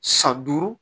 San duuru